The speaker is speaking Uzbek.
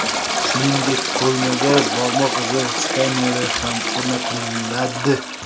Shuningdek, qurilmaga barmoq izi skaneri ham o‘rnatiladi.